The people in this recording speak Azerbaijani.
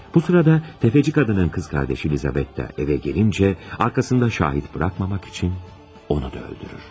Bu sırada təfəçi qadının qız qardaşı Lizabetta evə gəlincə, arxasında şahid buraxmamaq üçün onu da öldürür.